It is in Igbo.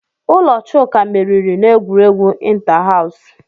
Ụlọ Chuka meriri n'egwuregwu inta-haws.